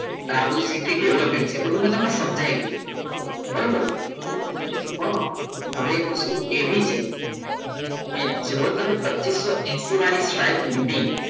આ બધું city developing છે આ બધું તમને સમજાયું હતું બરાબર પણ હવે એક વસ્તુ એવી છે કે જો તમે પચીસો હેસિ વાળી સાઈડ લીધી.